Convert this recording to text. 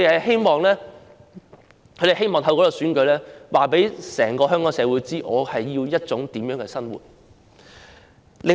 他們希望透過這次選舉告訴整個香港社會，自己需要一種怎樣的生活。